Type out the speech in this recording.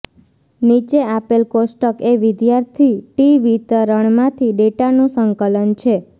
નીચે આપેલ કોષ્ટક એ વિદ્યાર્થી ટી વિતરણમાંથી ડેટાનું સંકલન છે